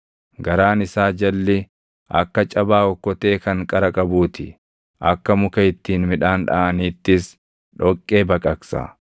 Garaan isaa jalli akka cabaa okkotee kan qara qabuu ti; akka muka ittiin midhaan dhaʼaniittis dhoqqee baqaqsa.